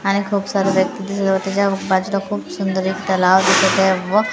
आणि खूप साऱ्या व्यक्ती त्याच्या त्याच्या बाजूला खूप सुंदर एक तलाव दिसत आहे व--